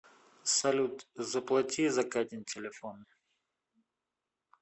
салют заплати за катин телефон